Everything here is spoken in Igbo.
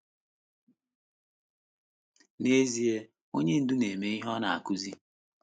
N’ezie, ezi onye ndú na - eme ihe ọ na - akụzi.